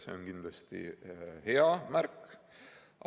See on kindlasti hea märk.